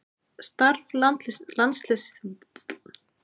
Starf landsliðsþjálfara er erfitt starf og Eyjólfur sinnti því af kostgæfni.